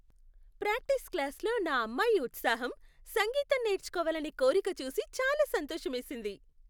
Practice క్లాస్లో నా అమ్మాయి ఉత్సాహం, సంగీతం నేర్చుకోవాలనే కోరిక చూసి చాలా సంతోషమేసింది.